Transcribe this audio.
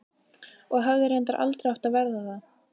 Og hefði reyndar aldrei átt að verða það.